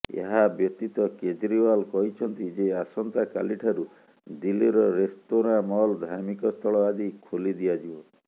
ଏହାବ୍ୟତୀତ କେଜ୍ରିଓ୍ବାଲ କହିଛନ୍ତି ଯେ ଆସନ୍ତା କାଲିଠାରୁ ଦିଲ୍ଲୀର ରେସ୍ତୋରାଁ ମଲ୍ ଧାର୍ମିକସ୍ଥଳ ଆଦି ଖୋଲିଦିଆଯିବ